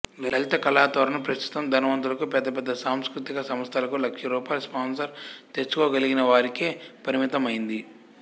లలిత కళాతోరణం ప్రస్తుతం ధనవంతులకు పెద్ద పెద్ద సాంస్కృతిక సంస్థలకు లక్షల రూపాయలు స్పాన్సర్ తెచ్చుకోగలిగినవారికే పరిమితమైంది